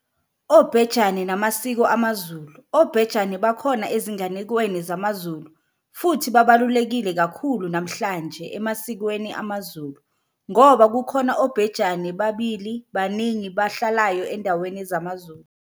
Obhejane namaSiko amaZulu. Obhejane bakhona ezinganekwaneni zamaZulu futhi babalulekile kakhulu namhlanje emasikweni amaZulu ngoba kukhona obhejane babili baningi bahlalayo endaweni zamaZulu.